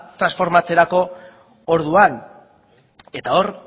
transformatzerako orduan eta hor